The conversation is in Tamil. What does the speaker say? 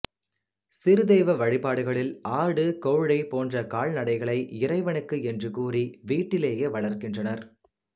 சிறு தெய்வ வழிபாடுகளில் ஆடு கோழி போன்ற கால்நடைகளை இறைவனுக்கு என்று கூறி வீட்டிலேயே வளர்க்கின்றனர்